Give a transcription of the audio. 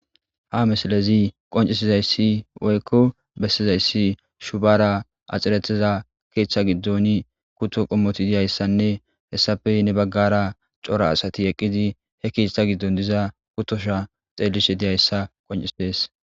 ha mesalezi qoncisizayssi woykko bessizayssi shubara axiretiza keeththa giddoni kutto qommoti diyayssanne hessafe ne baggara cora asati eqqidi he keeththa giddon diza kutosha xeellishe diyayssa qoncisees